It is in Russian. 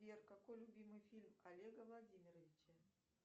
сбер какой любимый фильм олега владимировича